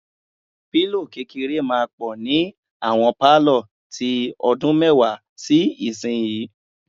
Pílò kékeré máa pọ̀ ni àwọn pálọ̀ tí ọdún mẹ́wàá sí ìsinyìí.